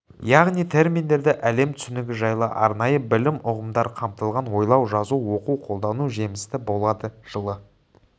яғни терминдерде әлем түсінігі жайлы арнайы білім ұғымдар қамтылған ойлау жазу оқу қолдану жемісті болады жылы